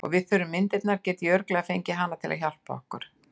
Og ef við þurfum myndirnar get ég örugglega fengið hana til að hjálpa okkur.